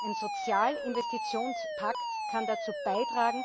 Ein Sozialinvestitionspakt kann dazu beitragen,